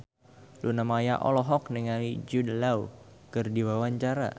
Luna Maya olohok ningali Jude Law keur diwawancara